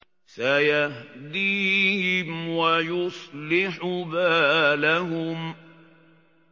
سَيَهْدِيهِمْ وَيُصْلِحُ بَالَهُمْ